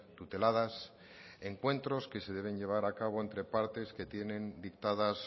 tuteladas encuentros que se deben llevar a cabo entre partes que tienen dictadas